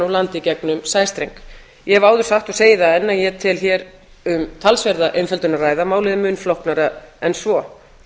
úr landi gegnum sæstreng ég hef áður sagt og segi það enn að ég tel hér um talsverða einfaldara að ræða málið er mun flóknara en svo